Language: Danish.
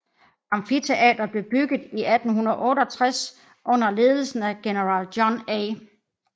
Amfiteatret blev bygget i 1868 under ledelse af General John A